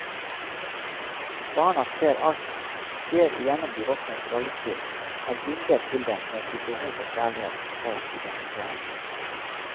Barnet ser alt, ser igjennom de voksnes rollespill, er bundet til dem med sitt behov for kjærlighet, for identitet.